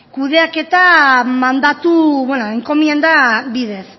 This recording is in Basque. kudeaketa mandatu enkomienda bidez